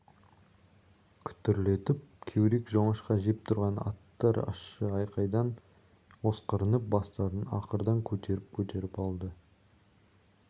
күтірлетіп кеурек жоңышқа жеп тұрған аттар ащы айқайдан осқырынып бастарын ақырдан көтеріп-көтеріп алды